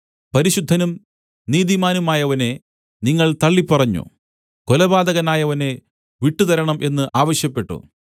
പരിശുദ്ധനും നീതിമാനുമായവനെ നിങ്ങൾ തള്ളിപ്പറഞ്ഞു കൊലപാതകനായവനെ വിട്ടുതരണം എന്ന് ആവശ്യപ്പെട്ടു